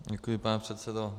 Děkuji, pane předsedo.